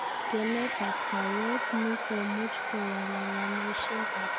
Kemetab kaweet ni komuch kowalalameshekab somanet alakini maibe kwo Learning Poverty